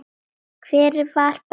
Hver var Benni?